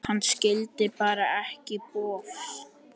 Hann skildi bara ekki bofs.